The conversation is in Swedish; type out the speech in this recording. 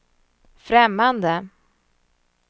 främmande